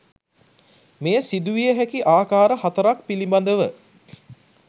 මෙය සිදුවිය හැකි ආකාර හතරක් පිළිබඳව